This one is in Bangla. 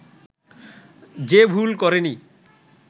যে ভুল করেনি